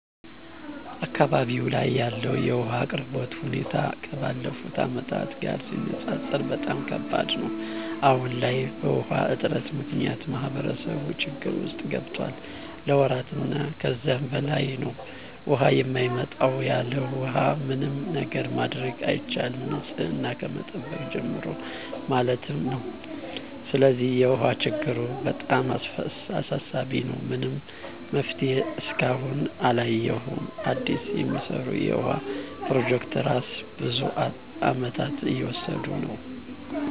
አካባቢው ላይ ያለው የውሃ አቅርቦት ሁኔታ ከባለፉት አመታት ጋር ሲነፃፀር በጣም ከባድ ነው። አሁን ላይ በውሃ እጥረት ምክንያት ማህበረሰቡ ችግር ውስጥ ገብቷል ለወራት እና ከዛ በላይ ነው ውሃ የማይመጣው። ያለውሃ ምንም ነገር ማድረግ አይቻልም ንፅህናን ከመጠበቅ ጀምሮ ማለት ነው። ስለዚህ የውሃ ችግሩ በጣም አሳሳቢ ነው። ምንም መፍትሄ እስካሁን አላየሁም አዲስ የሚሰሩ የውሃ ፕሮጀክቶች እራሱ ብዙ አመታትን እየወሰዱ ነው።